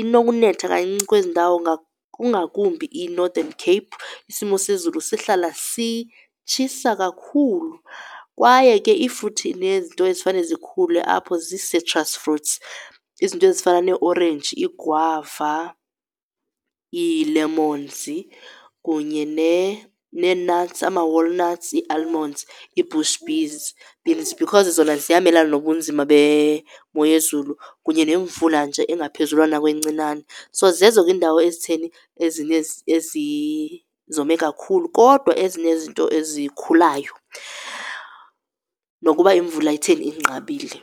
inokunetha kancinci kwezi ndawo kungakumbi iNorthern Cape, isimo sezulu sihlala sitshisa kakhulu, kwaye ke iifruthi nezinto ezifane zikhule apho zii-citrus fruits, izinto ezifana neeorenji, iigwava, iilemonzi, kunye nee-nuts ama-walnuts, ii-almonds ii-bush beands because zona ziyamelana nobunzima bemo yezulu kunye nemvula nje engaphezulwana kwencinane. So, zezo ke iindawo ezitheni ezi zome kakhulu kodwa ezinezinto ezikhulayo nokuba imvula itheni inqabile.